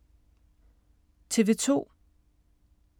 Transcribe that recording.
TV 2